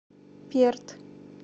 перт